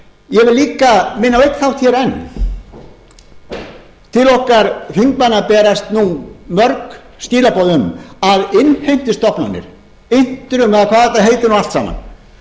ég vil líka minna á einn þátt hér enn til okkar þingmanna berast nú mörg skilaboð um að innheimtustofnanir intrum eða hvað þetta heitir nú allt saman